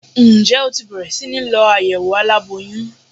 Ǹjẹ́ o ti bẹ̀rẹ̀ síní lọ àyẹ̀wò aláboyún?